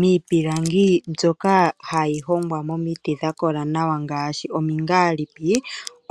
Miipilangi mbyoka hayi hongwa momiti dha kola nawa ngaashi omingaalipi,